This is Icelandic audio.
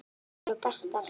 Þær eru bestar.